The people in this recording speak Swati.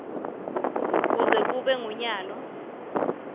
kuze kube ngunyalo